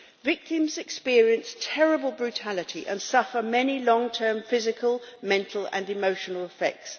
Victims experience terrible brutality and suffer many long-term physical, mental and emotional effects.